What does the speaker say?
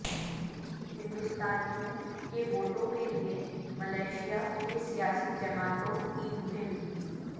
ہندوستانیوں کے ووٹوں کے لیے ملائشیا کی سیاسی جماعتوں کی مہم